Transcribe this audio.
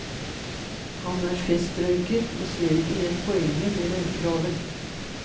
Han er festrøyker, og ser ikke helt poenget med røykeloven.